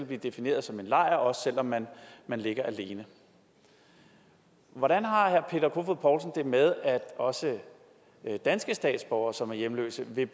blive defineret som en lejr også selv om man ligger alene hvordan har herre peter kofod poulsen det med at også danske statsborgere som er hjemløse vil